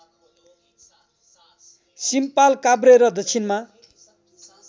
सिम्पालकाभ्रे र दक्षिणमा